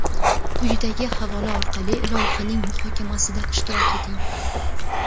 Quyidagi havola orqali loyihaning muhokamasida ishtirok eting:.